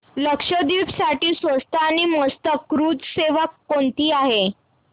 लक्षद्वीप साठी स्वस्त आणि मस्त क्रुझ सेवा कोणती आहे